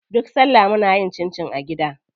Duk salla muna yin cincin a gida.